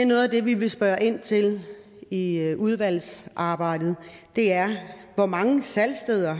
noget af det vi vil spørge ind til i udvalgsarbejdet er hvor mange salgssteder